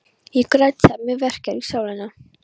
Ég græt þegar mig verkjar í sálina.